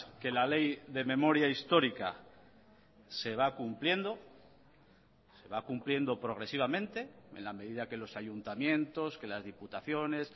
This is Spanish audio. que la ley de memoria histórica se va cumpliendo se va cumpliendo progresivamente en la medida que los ayuntamientos que las diputaciones